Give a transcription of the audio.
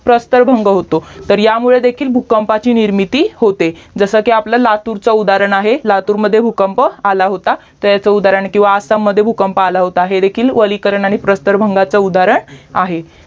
प्रसतरभंग होतो तर ह्यामुळे भूकंपाची निर्मिती होते जसकी आपला लातूरच उदाहरण आहे लातूरमध्ये भूकंप आला होता त्याच उदाहरण किव्हा आसाम मध्ये भूकंप आला होता हे देखील ओलीकरन आणि प्रसतरभांग आहे